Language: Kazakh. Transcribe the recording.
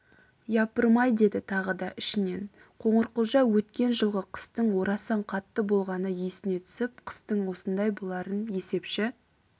япырмай деді тағы да ішінен қоңырқұлжа өткен жылғы қыстың орасан қатты болғаны есіне түсіп қыстың осындай боларын есепші